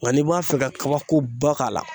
Nka n'i b'a fɛ ka kabakoba k'a la